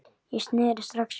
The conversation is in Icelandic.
Ég sneri strax við.